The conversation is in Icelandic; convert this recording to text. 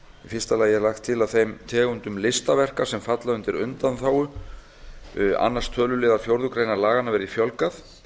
fyrsta lagi er lagt til að þeim tegundum listaverka sem falla undir undanþágu annars töluliðar fjórðu grein laganna verði fjölgað